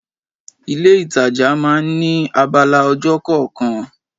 Ilé itàjà máa ń ní abala ọjà kọ̀ọ̀kan.